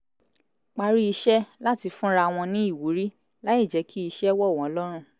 parí iṣẹ́ láti fúnra wọn ní ìwúrí láì jẹ̀ kí iṣẹ́ wọ̀ wọ́n lọ́rùn